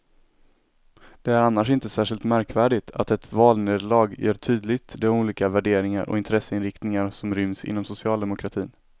Det är annars inte särskilt märkvärdigt att ett valnederlag gör tydligt de olika värderingar och intresseinriktningar som ryms inom socialdemokratin.